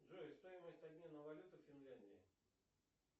джой стоимость обмена валюты в финляндии